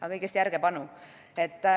Aga kõigest järjepanu.